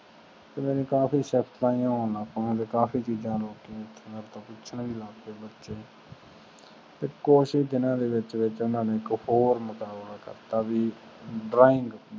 ਓਹਨਾ ਨੇ ਕਾਫੀ ਚੀਜ notice ਕੀਤੀਆਂ ਤੇ ਮੇਥੋ ਪੁੱਛਣ ਵੀ ਲੱਗ ਪਾਏ ਬੱਚੇ ਤੇ ਦੀਨਾ ਦੇ ਵਿਚ ਓਹਨਾ ਇਕ ਹੋਰ ਮੁਕਾਬਲਾ ਕਰਤਾ ਵੀ drawing